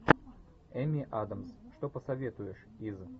эми адамс что посоветуешь из